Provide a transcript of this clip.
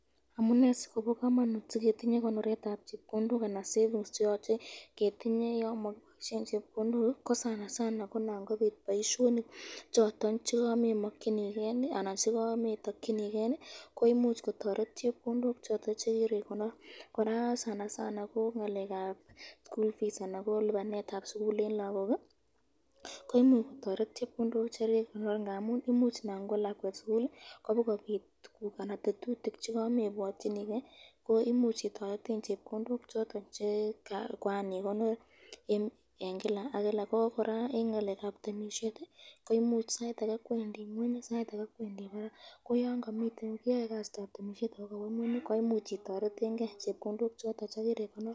Amune sikobo kamanut siketinye konoretab chepkondok anan savings cheyoche ketinye yan makiboisyen chepkondok ko sanasana ko Nan kobit boisyonik choton chekamemakyiniken anan chekametakyiniken koimuch kotoret chepkondok choton chekiri konor ,koraa sanasana ko ngalekab school fees anan ko lipanetab sukul eng lagok koimuch kotoret chepkondok chekirikonor ngamun imuch Nan kwo lakwet sukul ko kami tetutik chekamebwatyiniken koimuch iboishen chepkondok choton che koan ikonor , koraa eng ngalekab temisyet ko sait ake kwendi kweny sait ake kwendi barak ko yan kawe ngweny, koimuch iboishen chepkondok choton chekirikonor.